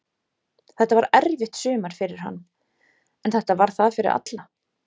Þetta var erfitt sumar fyrir hann, en þetta var það fyrir alla.